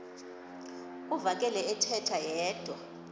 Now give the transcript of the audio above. uvakele ethetha yedwa